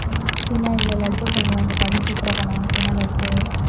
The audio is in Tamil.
ஏன் அதுல எல்லாம் cake லாம் செய்வாங்கல blueberry cake உ blackberry cake உ